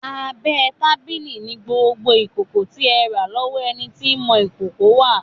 Abẹ́ tábìlì ni gbogbo ìkòkò tí ẹ rà lọ́wọ́ ẹni tí ń mọ ìkòkò wà.